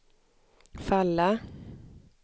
falla